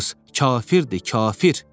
Kafirdir, kafir.